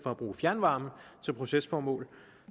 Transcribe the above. fjernvarme til procesformål